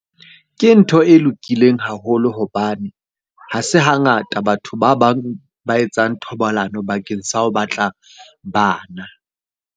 Ke ntho e lokileng haholo hobane ha se hangata batho ba bang ba etsang thobalano bakeng sa ho batla bana.